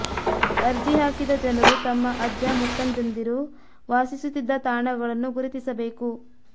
ಅರ್ಜಿ ಹಾಕಿದ ಜನರು ತಮ್ಮ ಅಜ್ಜ ಮುತ್ತಜ್ಜಂದಿರು ವಾಸಿಸುತ್ತಿದ್ದ ತಾಣಗಳನ್ನು ಗುರುತಿಸಬೇಕು